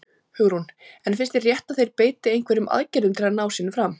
Hugrún: En finnst þér rétt að þeir beiti einhverjum aðgerðum til að ná sínu fram?